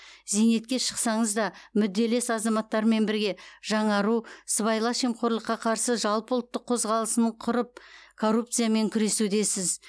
зейнетке шықсаңыз да мүдделес азаматтармен бірге жаңару сыбайлас жемқорлыққа қарсы жалпыұлттық қозғалысын құрып коррупциямен күресудесіз